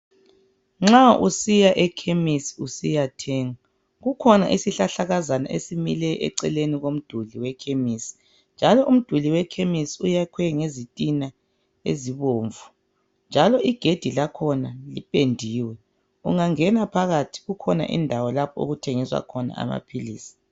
Nxa usiya Ekhemisi usiyathenga kukhona isihlahlakazana esimileyo eceleni komduli wekhemisi, njalo umduli wekhemisi uyakhiwe ngezitina ezibomvu njalo igedi lakhona lipendiwe . Ungangena phakathi kukhona indawo lapho okuthengiswa khona amaphilisi.